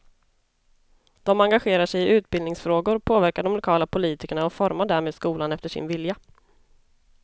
De engagerar sig i utbildningsfrågor, påverkar de lokala politikerna och formar därmed skolan efter sin vilja.